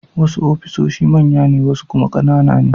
Wasu ofisoshi manya ne wasu kuma ƙanana ne.